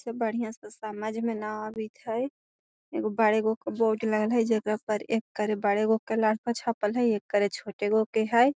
इ सब बढ़िया से समझ में न आवित हई एगो बड़ेगो के बोर्ड लगल हई जेकरा पर एकर बड़ेगो के छपल हई एकर छोटेगो के हई।